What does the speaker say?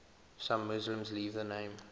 some muslims leave the name